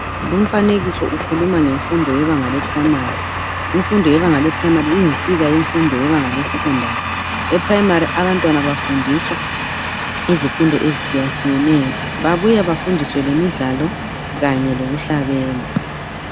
Lumfanekiso ukhuluma ngemfundo yebanga leprimary. Imfundo yebanga leprimary iyinsika yemfundo yebanga lesecondary. Eprimary abantwana bafundiswa izifundo ezitshiyatshiyeneyo babuya bafundiswe lemidlalo kanye lokuhlabela.